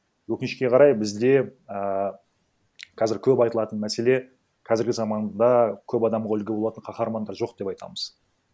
өкінішке қарай бізде ааа қазір көп айтылатын мәселе қазіргі заманда көп адамға үлгі болатын каһармандар жоқ деп айтамыз